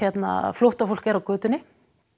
flóttafólk er á götunni